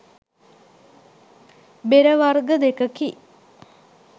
බෙරවර්ග දෙකකි